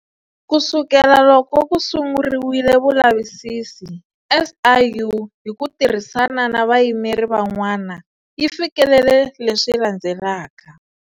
Ku sukela loko ku sunguriwile vulavisisi, SIU, hi ku tirhisana na vayimeri van'wana, yi fikelele leswi landzelaka.